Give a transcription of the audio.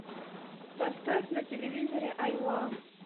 поставь на телевизоре айва